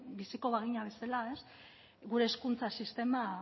biziko bagina bezala ez gure hezkuntza sistema